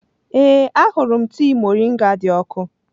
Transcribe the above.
Ee, ahụrụ m tii moringa dị ọkụ.